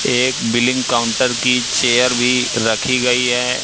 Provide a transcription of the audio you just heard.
एक billing counter की chair भी रखी गई है।